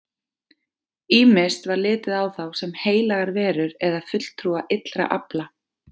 Ýmist var litið á þá sem heilagar verur eða fulltrúa illra afla.